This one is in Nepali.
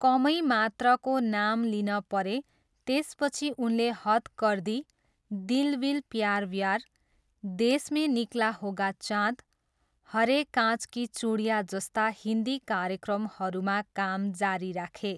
कमै मात्रको नाम लिन परे त्यसपछि उनले हद् कर दी, दिल विल प्यार व्यार, देश में निकला होगा चाँद, हरे काँच की चुडियाँ जस्ता हिन्दी कार्यक्रमहरूमा काम जारी राखे।